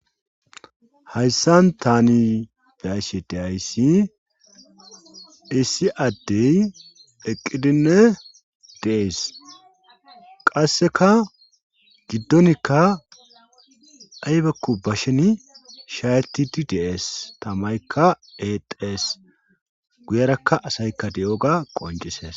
hayssan tani de'iyssi de'ayssi issi addey eqqidinne dees. qasseka giddonikka aybakku bashen shaayettidi dees tamaykka exxes. guyerakka asaykka diyoga qoncisees.